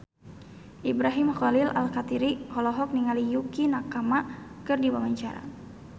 Ibrahim Khalil Alkatiri olohok ningali Yukie Nakama keur diwawancara